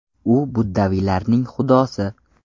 U buddaviylarning xudosi.